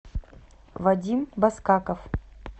вадим баскаков